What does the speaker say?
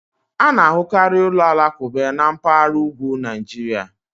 A na-ahụkarị ụlọ alakụba na mpaghara ugwu Naịjirịa